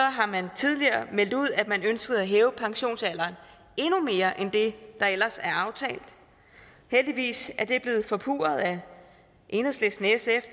har man tidligere meldt ud at man ønskede at hæve pensionsalderen endnu mere end det der ellers er aftalt heldigvis er det blevet forpurret af enhedslisten sf